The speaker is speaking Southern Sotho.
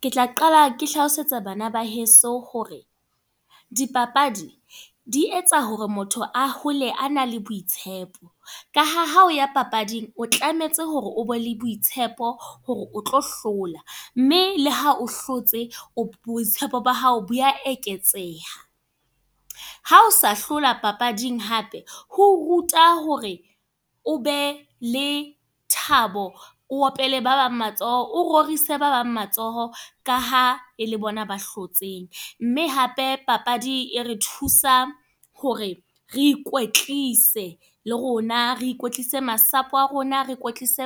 Ke tla qala ke hlalosetsa bana ba heso hore, di papadi, di etsa hore motho a hole a na le boitshepo. Ka ha, ha o ya papading o tlametse hore o be le boitshepo, hore o tlo hlola. Mme le ha o hlotse, boitshepo ba hao bo a eketseha. Ha o sa hlola papading hape. Ho ruta hore o be le thabo, o opele ba bang matsoho, o rorisa ba bang matsoho ka ha e le bona ba hlotseng. Mme hape papadi e re thusa hore, re ikwetlise le rona. Re ikwetlise masapo a rona, re kwetlise